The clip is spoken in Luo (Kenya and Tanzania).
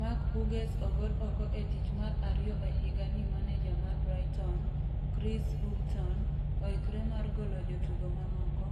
Mark Hughes ogol oko e tich mar ariyo e higa ni Maneja mar Brighton, Chris Hughton, oikre mar golo jotugo mamoko,